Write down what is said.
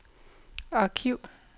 arkiv